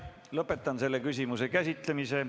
Lõpetan selle küsimuse käsitlemise.